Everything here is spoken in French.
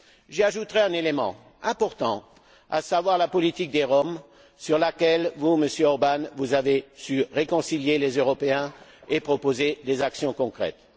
J'y ajouterai un élément important, à savoir la politique des Roms sur laquelle vous, Monsieur Orbán, avez su réconcilier les Européens et proposer des actions concrètes.